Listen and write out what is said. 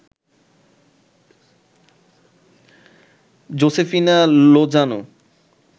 Josefina Lozano